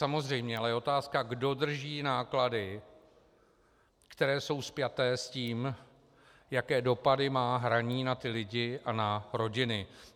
Samozřejmě je ale otázka, kdo drží náklady, které jsou spjaté s tím, jaké dopady má hraní na ty lidi a na rodiny.